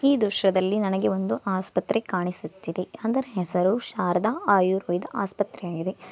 ಈ ದೃಶ್ಯದಲ್ಲಿ ನನಗೆ ಒಂದು ಆಸ್ಪತ್ರ್ರೆ ಕಾಣಿಸುತ್ತಿದೆ ಅದರ ಹೆಸರು ಶಾರದಾ ಆಯುರ್ವೇದ ಆಸ್ಪತ್ರೆಯಾಗಿದೆ.